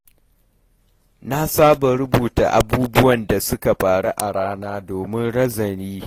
Na saba rubuta abubuwan da suka faru a rana domin nazari.